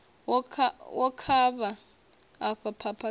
wo kavha afha phapha dzau